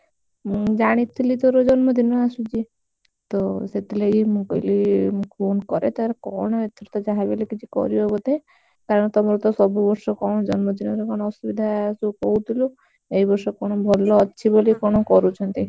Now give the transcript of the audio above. ମୁଁ ଜାଣିଥିଲି ତୋର ଜନ୍ମଦିନ ଆସୁଛି ତ ସେଥିଲାଗି ମୁଁ କହିଲି ଫୋନ କରେ ତାର କଣ ଏଥର ତ ଯାହା ବି ହେଲେ କଣ କରିବ ବୋଧେ କାରଣ ତମର ତ ସବୁ ବର୍ଷ କଣ ଜନ୍ମଦିନରେ କଣ ଅସୁବିଧା ସବୁ କହୁଥିଲୁ ଏଇ ବର୍ଷ କଣ ଭଲ ଅଛି ବୋଲି କଣ କରୁଛନ୍ତି।